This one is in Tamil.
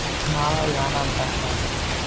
நாளாவது வேணாம்டாங்க mam